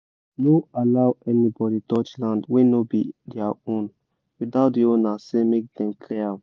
no allow anybody touch land wey no be their own without the owner say make dem clear am